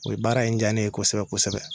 O ye baara in ja ne ye kosɛbɛ kosɛbɛ